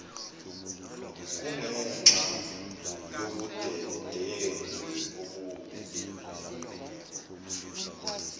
kungenxa yobudedengu obube